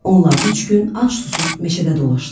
Onlar üç gün ac-susuz meşədə dolaşdılar.